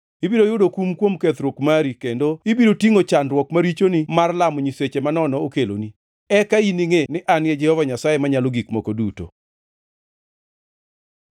Ibiro yudo kum kuom kethruok mari kendo ibiro tingʼo chandruok ma richoni mar lamo nyiseche manono okeloni. Eka iningʼe ni An e Jehova Nyasaye Manyalo Gik Moko Duto.”